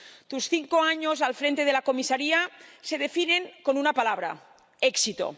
Tus cinco años al frente de la comisaría se definen con una palabra éxito